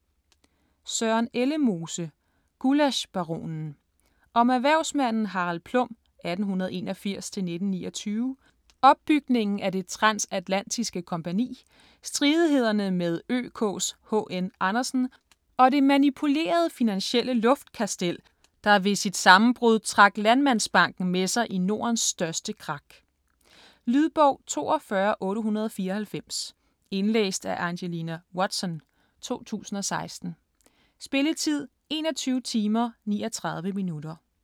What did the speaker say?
Ellemose, Søren: Gullaschbaronen Om erhvervsmanden Harald Plum (1881-1929), opbygningen af Det Transatlantiske Kompagni, stridighederne med ØKs H.N. Andersen, og det manipulerede finansielle luftkastel, der ved sit sammenbrud trak Landmandsbanken med sig i Nordens største krak. Lydbog 42894 Indlæst af Angelina Watson, 2016. Spilletid: 21 timer, 39 minutter.